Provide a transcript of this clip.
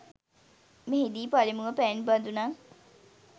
මෙහිදී පළමුව පැන් බදුනක්